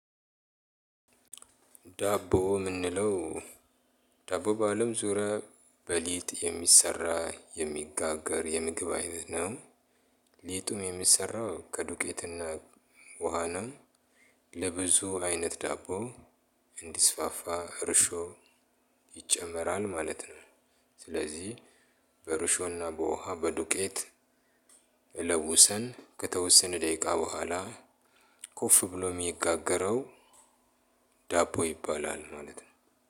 ዳቦ ምንለው ዳቦ በአለም ዙሪያ በሊጥ የሚሰራ የሚጋገር የምግብ አይነት ነው። ሊጡም የሚሰራው ከዱቄትና ውሃና ለብዙ አይነት ዳቦ እንዲስፋፋ እርሾ ይጨመራል ማለት ነው። ስለዚህ በእርሾና በውሃ በዱቄት ለውሰን ከተወሰነ ደቂቃ በኋላ ኮፍ ብሎ የሚጋገረው ዳቦ ይባላል። ማለት ነው